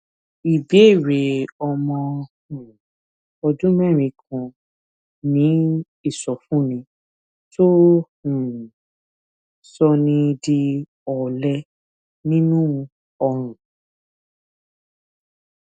ìbéèrè ọmọ um ọdún mérin kan ní ìsọfúnni tó um ń sọni di òlẹ nínú ọrùn